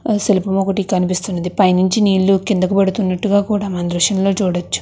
ఆ శిల్పం ఒకటి కనిపిస్తున్నది పైనించి నీళ్లు కిందకు పడుతున్నట్టుగా కూడా మన దృశ్యంలో చూడొచ్చు.